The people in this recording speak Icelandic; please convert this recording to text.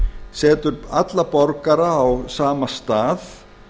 setur alla borgara á sama stað